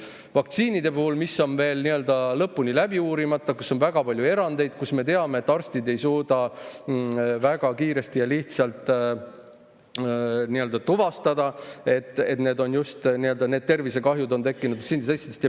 Need vaktsiinid on veel lõpuni läbi uurimata, seal on väga palju erandeid ning me teame, et arstid ei suuda väga kiiresti ja lihtsalt tuvastada, et tervisekahjud on tekkinud just nende tõttu.